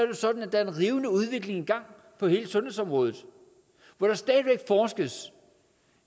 jo sådan at der er en rivende udvikling i gang på hele sundhedsområdet hvor der stadig væk forskes